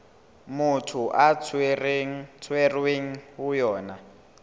motho a tshwerweng ho yona